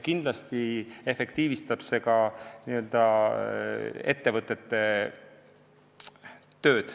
Kindlasti efektiivistab ka see edaspidi ettevõtete tööd.